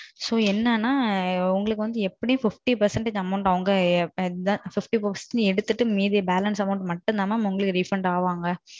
So. என்னான்னா உங்களுக்கு வந்து fifty percentage amount வந்து அவங்க எடுத்துட்டு மீதி remaining amount than refund ஆவாங்க.